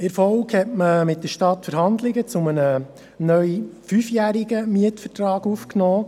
In der Folge hat man mit der Stadt Verhandlungen zu einem neu fünfjährigen Mietvertrag aufgenommen.